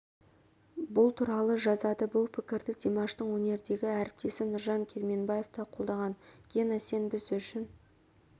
бұл туралы жазады бұл пікірді димаштың өнердегі әріптесі нұржан керменбаев та қолдаған гена сен біз үшін